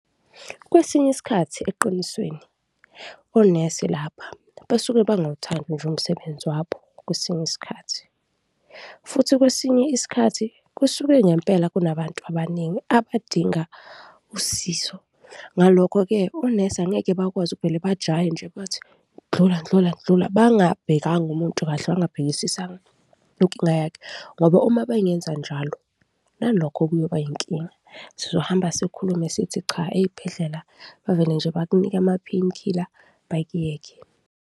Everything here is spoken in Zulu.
Kwesinye isikhathi eqinisweni, onesi lapha basuke bangawuthandi nje umsebenzi wabo kwesinye isikhathi futhi kwesinye isikhathi kusuke ngempela kunabantu abaningi abadinga usizo. Ngalokho-ke, onesi angeke bakwazi ukuvele bajahe nje bathi, ndlula ndlula ndlula, bangabhekana umuntu kahle, bangabhekisisanga inkinga yakhe ngoba uma bengenza njalo, nalokho kuyoba inkinga, sizohamba sikhulume sithi cha, ezibhedlela bavele nje bakunike ama-pain killer, bakuyeke.